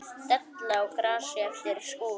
Della á grasi eftir skúr.